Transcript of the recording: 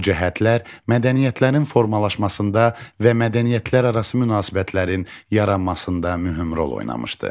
Bu cəhətlər mədəniyyətlərin formalaşmasında və mədəniyyətlərarası münasibətlərin yaranmasında mühüm rol oynamışdır.